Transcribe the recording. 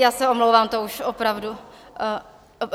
Já se omlouvám, to už opravdu...